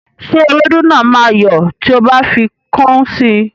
Ṣé ewédú náà máa yọ́ tí o bá fi kọ́ún sí?